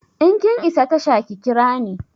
In kin isa tasha ki kira ni!